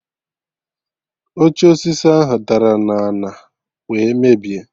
Oche osisi ahụ dara na ana wee mebie